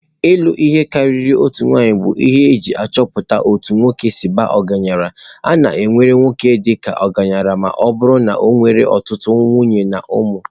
Ịlụ ihe karịrị otu nwanyị bụ ihe eji achọpụta otú nwoke si baa ọgaranya. A na-ewere nwoke dị ka ọgaranya ma ọ bụrụ na ọ nwere ọtụtụ nwunye na ụmụ.